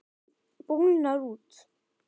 Bólgnar út.